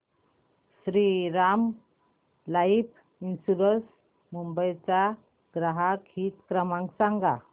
Shriram life insurance Mumbai चा ग्राहक हित क्रमांक सांगा